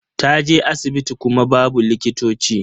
Ta je asibiti kuma babu likitoci.